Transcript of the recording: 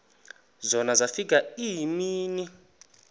zona zafika iimini